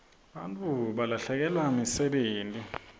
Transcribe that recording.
bantfu balahlekelwa msebenti